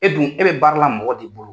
E dun e bɛ baara la mɔgɔ de bolo.